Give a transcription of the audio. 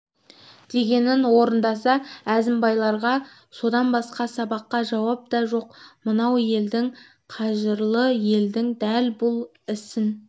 дегенін орындаса әзімбайларға содан басқа сабақта жауап та жоқ мынау елдің қажырлы елдің дәл бұл ісін